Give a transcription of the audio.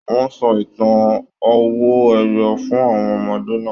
Wọn sọ ìtàn owó ẹyọ fún àwọn ọmọdé náà.